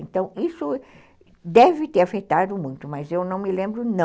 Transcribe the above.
Então isso deve ter afetado muito, mas eu não me lembro não.